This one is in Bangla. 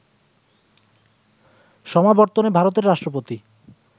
সমাবর্তনে ভারতের রাষ্ট্রপতি